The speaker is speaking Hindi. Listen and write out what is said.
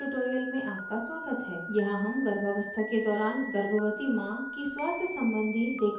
यहाँ हम गर्भावस्था के दौरान गर्भवती माँ की स्वास्थ सम्बन्धी देखभाल के care में बात करेंगे